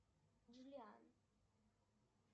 джулиан